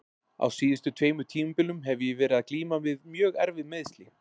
Á síðustu tveimur tímabilum hef ég verið að glíma við mjög erfið meiðsli.